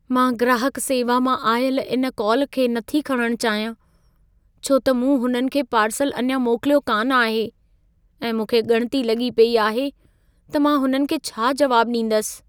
मां ग्राहक सेवा मां आयलु इन कॉल खे नथी खणणु चाहियां, छो त मूं हुननि खे पार्सल अञा मोकिलियो कान आहे ऐं मूंखे ॻणिती लॻी पेई आहे त मां हुननि खे छा जवाबु ॾींदसि।